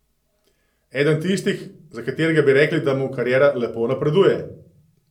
Eden tistih, za katerega bi rekli, da mu kariera lepo napreduje.